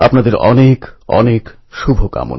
মন কি বাতএ আবার মিলিত হবে